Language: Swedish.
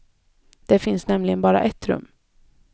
Det finns nämligen bara ett rum.